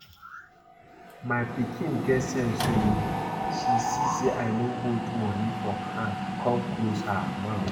My pikin get sense oo, she see say I no hold money for hand come close her mouth